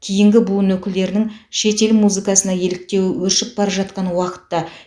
кейінгі буын өкілдерінің шетел музыкасына еліктеуі өршіп бара жатқан уақытта